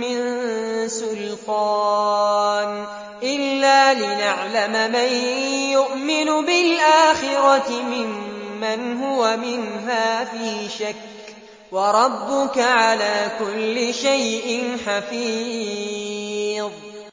مِّن سُلْطَانٍ إِلَّا لِنَعْلَمَ مَن يُؤْمِنُ بِالْآخِرَةِ مِمَّنْ هُوَ مِنْهَا فِي شَكٍّ ۗ وَرَبُّكَ عَلَىٰ كُلِّ شَيْءٍ حَفِيظٌ